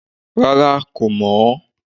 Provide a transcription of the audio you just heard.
Rárá kò mọ̀ ọ́